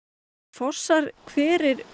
fossar hverir